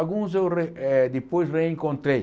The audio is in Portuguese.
Alguns eu re eh depois reencontrei.